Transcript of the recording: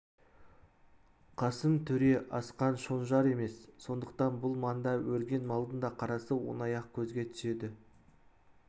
қасым төре асқан шонжар емес сондықтан бұл маңда өрген малдың да қарасы оңай-ақ көзге түседі